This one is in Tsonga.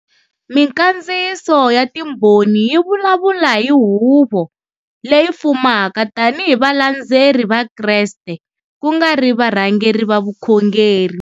Minkandziyiso ya Timbhoni yi vulavula hi Huvo Leyi Fumaka tanihi hi valandzeri va Kreste ku nga ri varhangeri va vukhongeri.